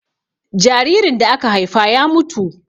jaririn da aka Haifa ya mutu